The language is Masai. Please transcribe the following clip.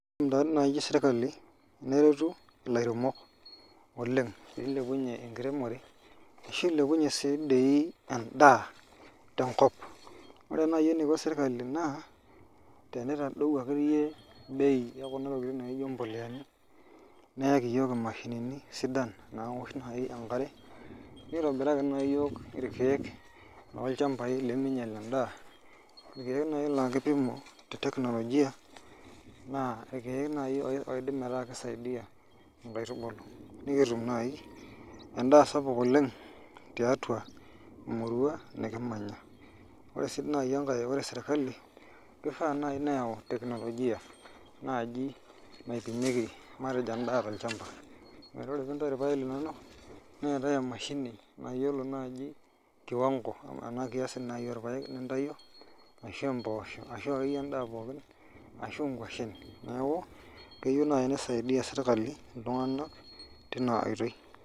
Nai serkali teneretu ilairemok oleng, pilepunye enkiremore ashu ilepunye si dii endaa tenkop. Ore nai eniko serkali naa, tenitadau akeyie bei ekuna tokiting naijo mpoleani, neeki yiok imashinini sidan nawosh nai enkare, nitobiraki nai yiok irkeek lolchambai leminyel endaa, irkeek nai laa kipimo te teknolojia, naa irkeek nai oidim ataa kisaidia inkaitubulu nikitum nai endaa sapuk oleng tiatua emurua nikimanya. Ore si nai enkae ore sirkali, kifaa nai neeu teknolojia nai naipimieki matejo endaa tolchamba. Metaa ore pintayu irpaek linonok, neetae emashini nayiolo naji kiwango ena kiasi naji orpaek lintayio, ashu impoosho, ashu akeyie endaa pookin, ashu nkwashen. Neeku keyieu nai nisaidia sirkali iltung'anak tina oitoi.